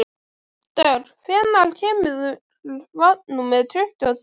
Dögg, hvenær kemur vagn númer tuttugu og þrjú?